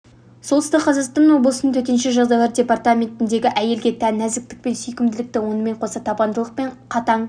солтүстік қазақстан облысының төтенше жағдайлар департаментінде әйелге тән нәзіктік пен сүйкімділікті онымен қоса табандылық пен қатаң